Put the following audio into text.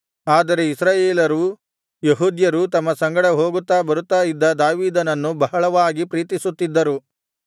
ಆದರೆ ಇಸ್ರಾಯೇಲರೂ ಯೆಹೂದ್ಯರೂ ತಮ್ಮ ಸಂಗಡ ಹೋಗುತ್ತಾ ಬರುತ್ತಾ ಇದ್ದ ದಾವೀದನನ್ನು ಬಹಳವಾಗಿ ಪ್ರೀತಿಸುತ್ತಿದ್ದರು